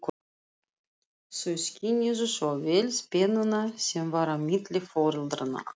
Þau skynjuðu svo vel spennuna sem var á milli foreldranna.